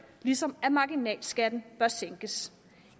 ligesom marginalskatten bør sænkes